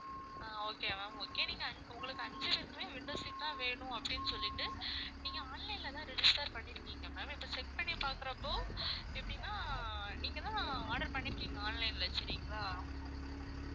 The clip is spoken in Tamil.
ஆஹ் okay ma'am okay நீங்க உங்களுக்கு அஞ்சு பேருக்குமே window seat தான் வேணும் அப்படின்னு சொல்லிட்டு நீங்க online ல தான் register பண்ணிருக்கீங்க ma'am இப்போ check பண்ணி பாக்குறப்போ எப்படின்னா நீங்கதான் order பண்ணிருக்கீங்க online ல சரிங்களா?